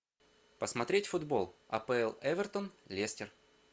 посмотреть футбол апл эвертон лестер